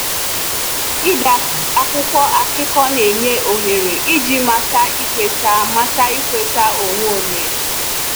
Ịde akwụkwọ akụkọ na-enye ohere iji mata ikweta mata ikweta onwe onye.